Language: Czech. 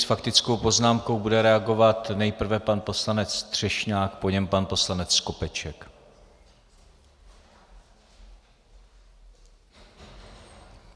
S faktickou poznámkou bude reagovat nejprve pan poslanec Třešňák, po něm pan poslanec Skopeček.